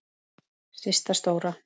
Systa stóra!